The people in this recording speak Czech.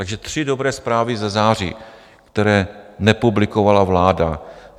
Takže tři dobré zprávy ze září, které nepublikovala vláda: